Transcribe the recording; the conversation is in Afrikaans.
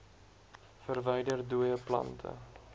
verwyder dooie plante